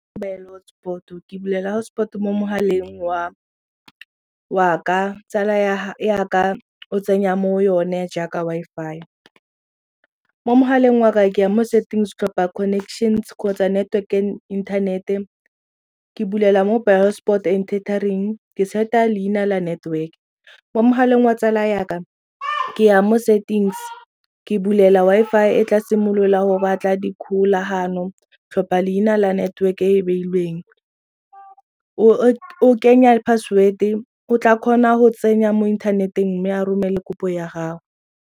Bule hotspot-o ke bulela hotspot mo mogaleng wa ka, tsala ya ka o tsenya mo yone jaaka Wi-Fi. Mo mogaleng waka ke ya mo settings tlhopha connections kgotsa network and internet-e ke bulela mobile hotspot and tethering ke set-a leina la network. Mo mogaleng wa tsala yaka ke ya mo settings ke bulela Wi-Fi e tla simolola go batla dikgolagano tlhopha leina la network-e e beilweng o kenya password-e o tla kgona go tsenya mo inthaneteng mme a romele kopo ya gago.